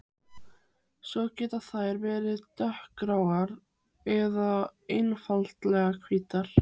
Svo geta þær verið dökkgráar eða einfaldlega hvítar.